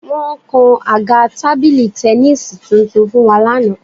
Wọ́n kan àga tábìlì tẹníìsì tuntun fún wa lánàá